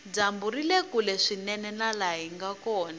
dyambu rile kule swinene na laha hinga kona